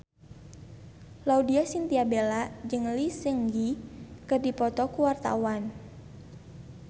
Laudya Chintya Bella jeung Lee Seung Gi keur dipoto ku wartawan